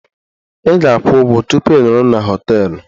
Ị ga-akwụ ụgwọ tupu ị nọrọ na họteelụ